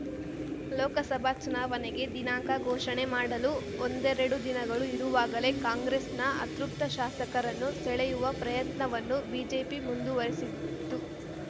ಲೋಕಸಭಾ ಚುನಾವಣೆಗೆ ದಿನಾಂಕ ಘೋಷಣೆ ಮಾಡಲು ಒಂದೆರಡು ದಿನಗಳು ಇರುವಾಗಲೇ ಕಾಂಗ್ರೆಸ್‌ನ ಅತೃಪ್ತ ಶಾಸಕರನ್ನು ಸೆಳೆಯುವ ಪ್ರಯತ್ನವನ್ನು ಬಿಜೆಪಿ ಮುಂದುವರೆಸಿದ್ದು